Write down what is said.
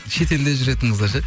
шет елде жүретін қыздар ше